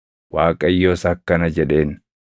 Waaqayyos akkana jedheen;